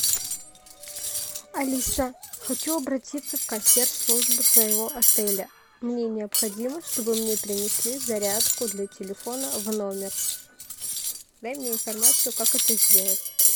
алиса хочу обратиться в консьерж службу своего отеля мне необходимо чтобы мне принесли зарядку для телефона в номер дай мне информацию как это сделать